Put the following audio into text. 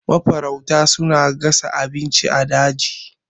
Mafarauta suna gasa abinci a daji.